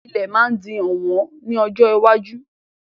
Ilẹ̀ máa di ọ̀wọ́n ní ọjọ́ iwájú.